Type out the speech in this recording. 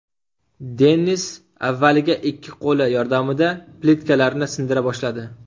Dennis avvaliga ikki qo‘li yordamida plitkalarni sindira boshladi.